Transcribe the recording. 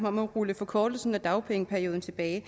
om at rulle forkortelsen af dagpengeperioden tilbage